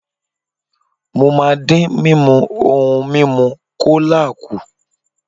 Mo máa dín mímu ohun mímu kólà kù.